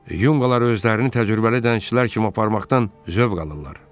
Yunqalar özlərini təcrübəli dənizçilər kimi aparmaqdan zövq alırlar.